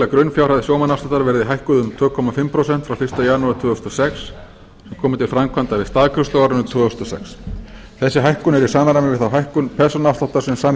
grunnfjárhæð sjómannaafsláttar verði hækkuð um tvö og hálft prósent frá fyrsta janúar tvö þúsund og sex og komi til framkvæmda við staðgreiðslu á árinu tvö þúsund og sex þessi hækkun er í samræmi við þá hækkun persónuafsláttar sem